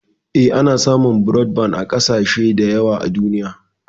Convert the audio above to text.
Eh, ana samun brodban a ƙasashe da yawa a duniya.